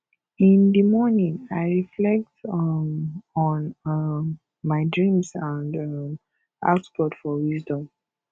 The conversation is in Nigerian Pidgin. in di morning i reflect um on um my dreams and um ask god for wisdom